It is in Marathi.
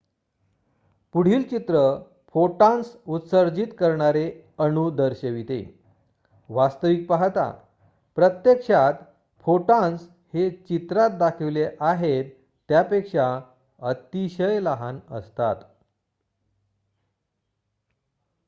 पुढील चित्र फोटॉन्स उत्सर्जित करणारे अणू दर्शविते वास्तविक पाहता प्रत्यक्षात फोटॉन्स हे चित्रात दाखविले आहेत त्यापेक्षा अतिशय लहान असतात